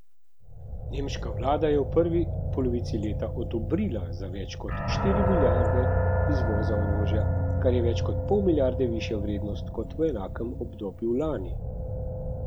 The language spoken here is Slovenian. Nemška vlada je v prvi polovici leta odobrila za več kot štiri milijarde izvoza orožja, kar je več kot pol milijarde višja vrednost kot v enakem obdobju lani.